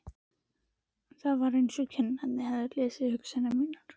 Það var eins og kennararnir hefðu lesið hugsanir mínar.